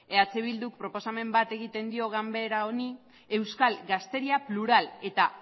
eh bilduk proposamen bat egiten dio ganbera honi euskal gazteria plural eta